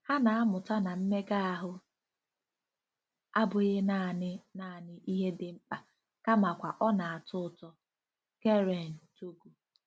Ha na-amụta na mmega ahụ abụghị naanị naanị ihe dị mkpa kamakwa ọ na-atọ ụtọ. — Keren, Togo.